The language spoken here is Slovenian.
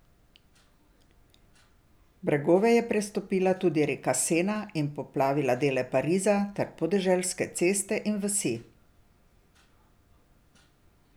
Bregove je prestopila tudi reka Sena in poplavila dele Pariza ter podeželske ceste in vasi.